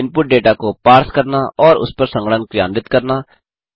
input डेटा को पार्स करना और उसपर संगणन क्रियान्वित करना